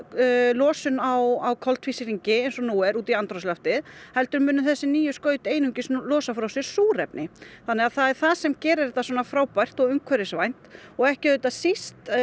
losun á koltvísýringi eins og nú er út í andrúmsloftið heldur munu þessi nýju skaut einungis losa frá sér súrefni þannig að það er það sem gerir þetta svona frábært og umhverfisvænt og ekki auðvitað síst